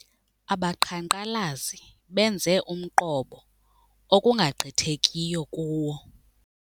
Abaqhankqalazi benze umqobo okungagqithekiyo kuwo.